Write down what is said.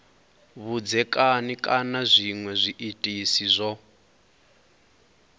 vhudzekani kana zwinwe zwiitisi zwo